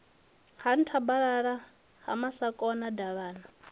ha nthabalala ha masakona davhana